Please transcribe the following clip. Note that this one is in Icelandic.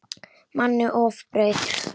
Manni ofbauð.